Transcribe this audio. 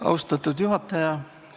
Austatud juhataja!